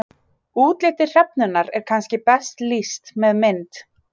útliti hrefnunnar er kannski best lýst með mynd